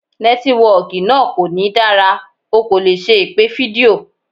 Nẹ́tíwọkì náà kò ní dára, o kò lè ṣe ìpè fídíò.